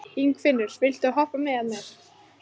Ingifinna, viltu hoppa með mér?